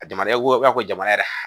A jamana ko aw ko jamana yɛrɛ